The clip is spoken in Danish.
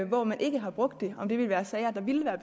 hvor man ikke har brugt det er sager der ville være